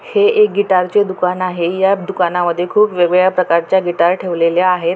हे एक गीटारचे दुकान आहे या दुकानामध्ये खूप वेगवेगळ्या प्रकारच्या गिटार ठेवलेल्या आहेत.